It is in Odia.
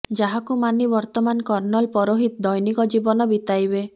ଯାହାକୁ ମାନି ବର୍ତ୍ତମାନ କର୍ଣ୍ଣଲ ପରୋହିତ ଦୈନିକ ଜୀବନ ବିତେଇବେ